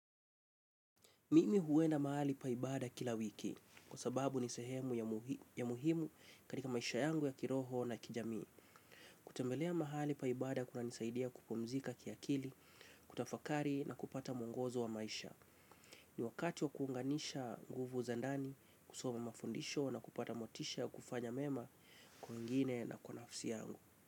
Mimi huenda mahali pa ibada kila wiki kwa sababu ni sehemu muhimu katika maisha yangu ya kiroho na kijamii. Kutembelea mahali pa ibada kunanisaidia kupumzika kiakili, kutafakari na kupata mwongozo wa maisha. Ni wakati wa kuunganisha nguvu za ndani, kusoma mafundisho na kupata motisha ya kufanya mema kwengine na kwa nafsi yangu.